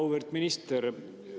Auväärt minister!